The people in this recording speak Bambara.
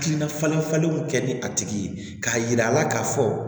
Hakilina falenfalenw kɛ ni a tigi ye k'a yira a la k'a fɔ